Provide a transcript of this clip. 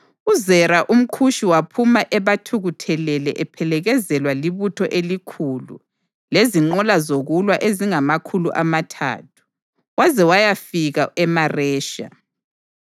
UZera umKhushi waphuma ebathukuthelele ephelekezelwa libutho elikhulu lezinqola zokulwa ezingamakhulu amathathu, waze wayafika eMaresha.